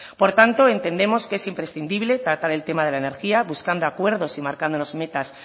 por tanto entendemos que es imprescindible tratar el tema de la energía buscando acuerdos y marcándonos metas